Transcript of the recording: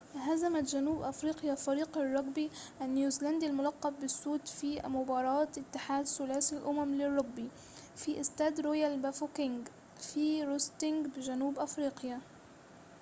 هزمت جنوب أفريقيا فريق الرجبي النيوزيلندي الملقب بالسود في مباراة اتحاد ثلاثي الأمم للرجبي في استاد رويال بافوكينج في روستنبرج بجنوب أفريقيا